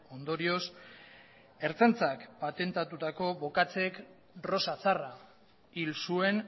ondorioz ertzaintzak atentatutako bokatzek rosa zarra hil zuen